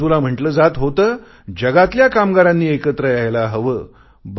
एका बाजूला म्हटले जात होते जगातल्या कामगारांनी एकत्र यायला हवे